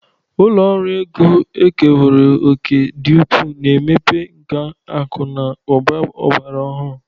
Ụlọ ọrụ ego ekerewo òkè dị ukwuu na mmepe nke akụ na ụba ọgbara ọhụrụ.